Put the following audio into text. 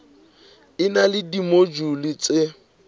e na le dimojule tse